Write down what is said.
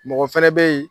Mɔgɔ fɛnɛ bɛ yen